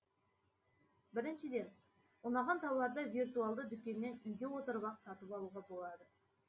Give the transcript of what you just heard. біріншіден ұнаған тауарды виртуалды дүкеннен үйде отырып ақ сатып алуға болады